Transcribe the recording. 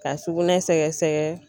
Ka sugunɛ sɛgɛsɛgɛ